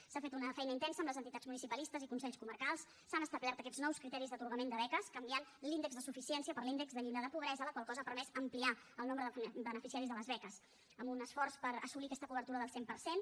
s’ha fet una feina intensa amb les entitats municipalistes i consells comarcals s’han establert aquests nous criteris d’atorgament de beques canviant l’índex de suficiència per l’índex de llindar de pobresa la qual cosa ha permès ampliar el nombre de beneficiaris de les beques amb un esforç per assolir aquesta cobertura del cent per cent